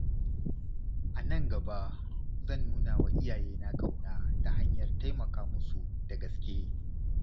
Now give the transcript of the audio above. A nan gaba, zan nuna wa iyayena ƙauna ta hanyar taimaka musu da gaske.